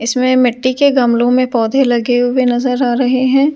इसमें मिट्टी के गमलों में पौधे लगे हुए नजर आ रहे हैं ।